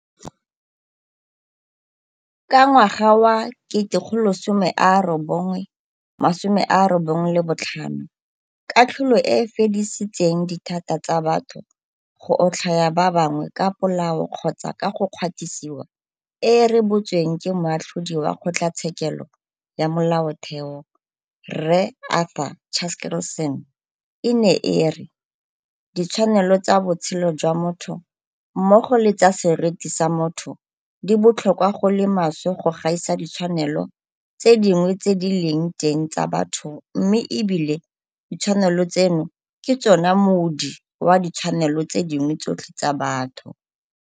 Ka ngwaga wa 1995 katlholo e e fedisitseng dithata tsa batho go otlhaya ba bangwe ka polao kgotsa ka go kgwatisiwa e e rebotsweng ke Moatlhodi wa Kgotlatshekelo ya Molaotheo, Rre Arthur Chaskalson e ne e re, Ditshwanelo tsa botshelo jwa motho mmogo le tsa seriti sa motho di botlhokwa go le maswe go gaisa ditshwanelo tse dingwe tse di leng teng tsa batho mme ebile ditshwanelo tseno ke tsona moodi wa ditshwanelo tse dingwe tsotlhe tsa batho.